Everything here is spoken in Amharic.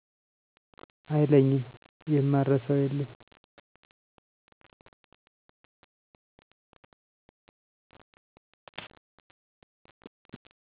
አይለኝም የማረሳው የለም